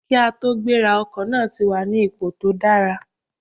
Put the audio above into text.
Kí a tó gbéra, ọkọ̀ náà ti wà ní ipò tó dára